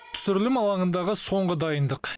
түсірілім алаңындағы соңғы дайындық